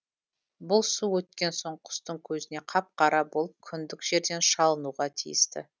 бұл су өткен соң құстың көзіне қап қара болып күндік жерден шалынуға тиісті